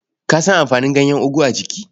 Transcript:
Ka san amfanin ganyen ogu a jiki?